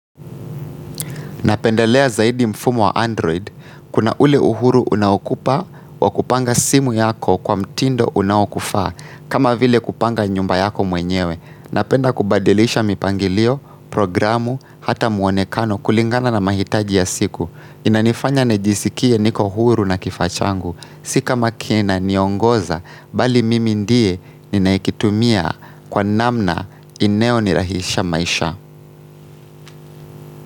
Napenda lea zaidi mfumo wa Android. Kuna ule uhuru unaokupa wa kupanga simu yako kwa mtindo unaokufaa. Kama vile kupanga nyumba yako mwenyewe. Napenda kubadilisha mipangilio, programu, hata muonekano kulingana na mahitaji ya siku. Inanifanya nijisikie niko uhuru na kifaa changu. Si kama kina niongoza, bali mimi ndiye ninayekitumia kwa namna inayo nirahisisha maisha.